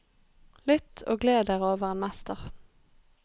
Lytt og gled dere over en mester.